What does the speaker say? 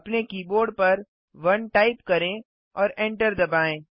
अपने कीबोर्ड पर 1 टाइप करें और एंटर दबाएँ